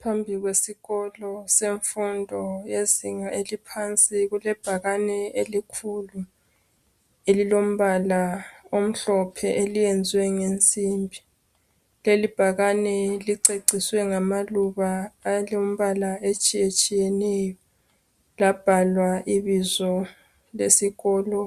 Phambili kwesikolo semfundo yezinga eliphansi kulebhakane elikhulu elilombala omhlophe eliyenzwe ngensimbi . Leli bhakane liceciswe ngamaluba elombala etshiyetshiyeneyo labhalwa ibizo lesikolo